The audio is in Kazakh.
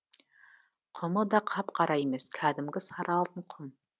құмы да қап қара емес кәдімгі сары алтын құм